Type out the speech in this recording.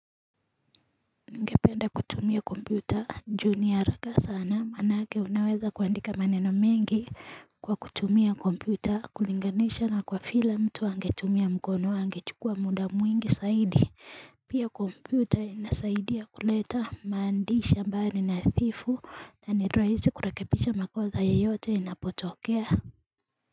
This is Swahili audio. Ningependa kutumia kompyuta juu ni haraka sana manake unaweza kuandika maneno mengi kwa kutumia kompyuta kulinganisha na kwa vile mtu angetumia mkono angechukua muda mwingi saidi Pia kompyuta inasaidia kuleta maandishi ambayo ni nadhifu na niraisi kurekebisha makoza ya yote inapotokea.